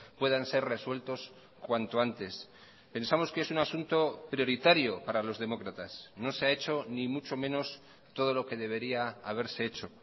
puedan ser resueltos cuanto antes pensamos que es un asunto prioritario para los demócratas no se ha hecho ni mucho menos todo lo que debería haberse hecho